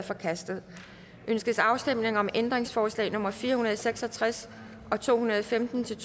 forkastet ønskes afstemning om ændringsforslag nummer fire hundrede og seks og tres og to hundrede og femten til